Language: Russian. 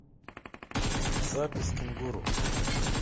запись кенгуру